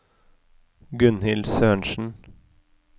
Gunnhild Sørensen